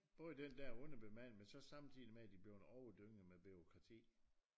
Både den der og underbemandet men så samtidig med de bliver overdynget med bureaukrati